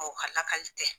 O ka lakali tɛ